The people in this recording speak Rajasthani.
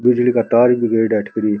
बिजली का तार भी गयेड़ा है अठ कर ही।